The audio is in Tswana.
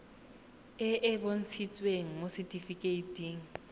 e e bontshitsweng mo setifikeiting